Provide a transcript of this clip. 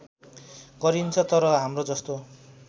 गरिन्छ तर हाम्रोजस्तो